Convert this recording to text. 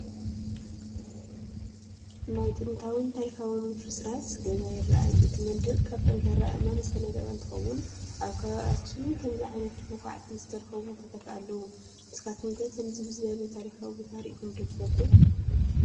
ናይ ጥንታውን ታሪካውን ፍርስራስ ገዛ ይራኣይ፡፡ እቲ መንድቅ ካብ ጠንካራ ኣአማን ዝተነደቐ እንትኾውን ኣብ ከባቢ ኣክሱም ከምዚ ዓይነት ብዃዕቲ ዝተረኸቡ ቦታታት ኣለው፡፡ ንስኻትኩም ከ ከምዚ ዝበለ ታሪካዊ ቦታ ሪኢኹም ዶ ትፈልጡ?